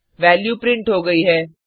value print हो गई है